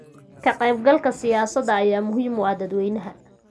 Ka-qaybgalka siyaasadda ayaa muhiim u ah dadweynaha.